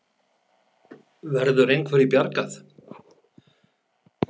Verður einhverju bjargað?